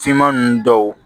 Finman ninnu dɔw